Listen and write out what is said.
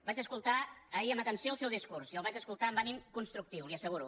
vaig escoltar ahir amb atenció el seu discurs i el vaig escoltar amb ànim constructiu li ho asseguro